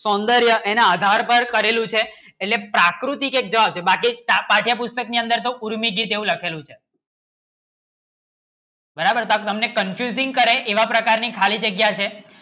સૌંદર્ય એના આધાર પર કરેલું છે એને પ્રકૃતિ ને જળ બાકી પાઠ્ય પુસ્તક ની અંદર નો એવા પ્રકારની ખાલી જગ્યા છે દેવું લખેલું છે બરાબર તમને confusing કરે એવા પ્રકારે ખાલી જગ્યા છે